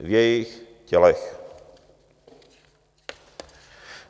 v jejich tělech.